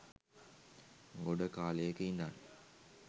ගොඩ කාලයක ඉඳන්